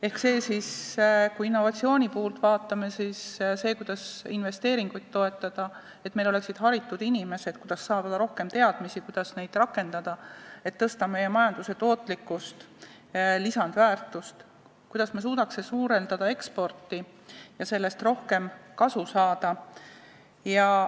Ehk kui me vaatame innovatsioonipoolt, siis see, kuidas toetada investeeringuid, kuidas saada rohkem teadmisi ja neid rakendada, et meil oleksid haritud inimesed, kuidas tõsta meie majanduse tootlikkust, lisandväärtust, ja suurendada eksporti, et sellest rohkem kasu saada.